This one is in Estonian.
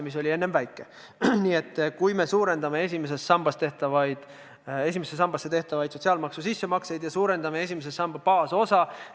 Nii et me suurendame esimesse sambasse tehtavaid sotsiaalmaksu sissemakseid ja suurendame esimese samba baasosa.